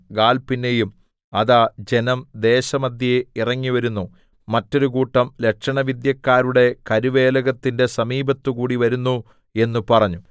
ഗാല്‍ പിന്നെയും അതാ ജനം ദേശമദ്ധ്യേ ഇറങ്ങിവരുന്നു മറ്റൊരുകൂട്ടം ലക്ഷണവിദ്യക്കാരുടെ കരുവേലകത്തിന്റെ സമീപത്തുകൂടി വരുന്നു എന്ന് പറഞ്ഞു